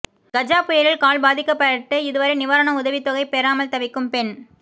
கஜா புயலில் கால் பாதிக்கப்பட்டு இதுவரை நிவாரண உதவித்தொகை பெறாமல் தவிக்கும் பெண்